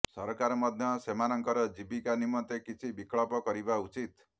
ସରକାର ମଧ୍ୟ ସେମାନଙ୍କର ଜୀବିକା ନିମନ୍ତେ କିଛି ବିକଳ୍ପ କରିବା ଉଚିତ୍